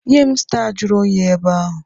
Nye m staa juru oyi ebe ahụ!